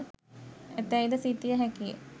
ඇතැයි ද සිතිය හැකිය.